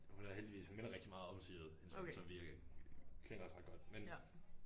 Men hun havde heldigvis hun minder rigtigt meget om Sigrid hende så vi klinger også ret godt men